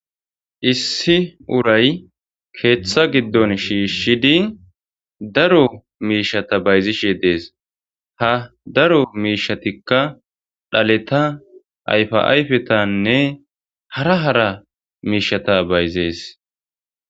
Issi urayyi keththa giddonni shishshidi daro mishshata bayizzishshe de'ess.haa daro mishshatikka dhaaleta ayifa ayiffetanne hara hara mishshata bayizes.